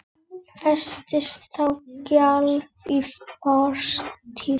Festist þá sjálf í fortíð.